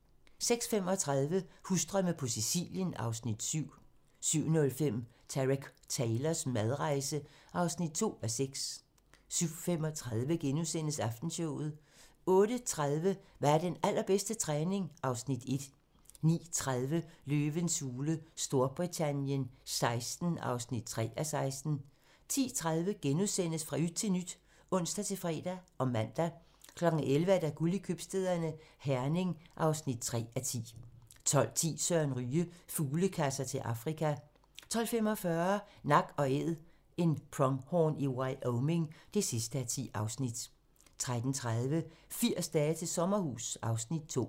06:35: Husdrømme på Sicilien (Afs. 7) 07:05: Tareq Taylors madrejse (2:6) 07:35: Aftenshowet * 08:30: Hvad er den allerbedste træning? (Afs. 1) 09:30: Løvens hule Storbritannien XVI (3:16) 10:30: Fra yt til nyt *(ons-fre og man) 11:00: Guld i købstæderne - Herning (3:10) 12:10: Søren Ryge: Fuglekasser til Afrika 12:45: Nak & Æd - en pronghorn i Wyoming (10:10) 13:30: 80 dage til sommerhus (Afs. 2)